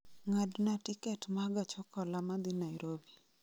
ng'adna tiket ma gach okoloma dhi nairobi